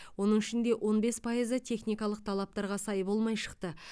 оның ішінде он бес пайызы техникалық талаптарға сай болмай шықты